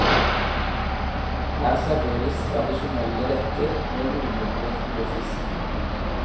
Her serveres tradisjonelle retter med hovedvekt på fisk.